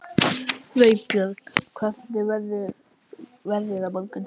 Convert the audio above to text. Vébjörn, hvernig verður veðrið á morgun?